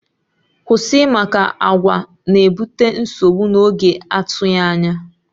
Kwụsị! Maka àgwà na-ebute nsogbu na oge atụghị anya